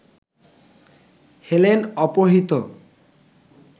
Helen অপহৃত